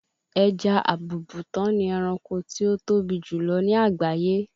ẹja àbùùbùtán ni ẹranko tí ó tóbi jù lọ ní àgbáyé